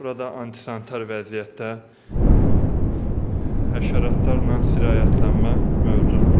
Burada antisanitar vəziyyətdə həşəratlarla sirayətlənmə mövcuddur.